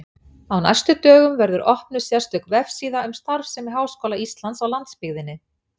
Á næstu dögum verður opnuð sérstök vefsíða um starfsemi Háskóla Íslands á landsbyggðinni.